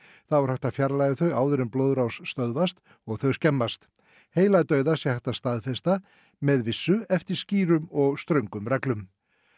þá er hægt að fjarlægja þau áður en blóðrás stöðvast og þau skemmast heiladauða sé hægt að staðfesta með vissu eftir skýrum og ströngum reglum